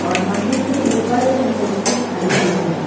और मंदिर के ऊपर एक मूर्ति खड़ी हुई है।